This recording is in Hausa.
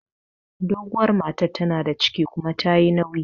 Doguwar matar tana da ciki kuma tayi nauyi